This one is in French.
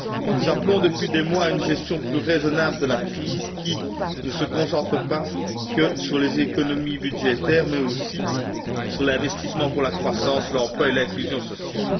Nous appelons, depuis des mois, à une gestion plus raisonnable de la crise qui ne se concentre pas que sur les économies budgétaires mais aussi sur l'investissement pour la croissance, l'emploi et l'inclusion sociale.